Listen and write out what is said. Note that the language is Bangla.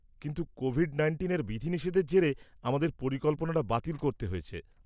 -কিন্তু কোভিড-১৯ এর বিধিনিষেধের জেরে আমাদের পরিকল্পনাটা বাতিল করতে হয়েছে।